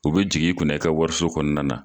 U be jigin i kunna i ka wariso kɔnɔna na.